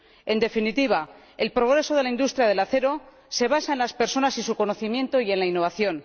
En definitiva, el progreso de la industria del acero se basa en las personas y su conocimiento y en la innovación.